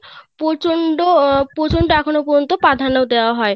প্রচন্ড প্রচন্ড এখনো পর্যন্ত প্রাধান্য দেওয়া হয়